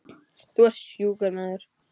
Þú ert sjúkur maður.